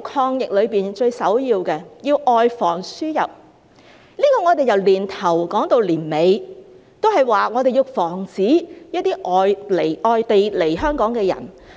抗疫中最首要的是外防輸入，我們由年初說到年底，都在說要防止一些外地來香港的人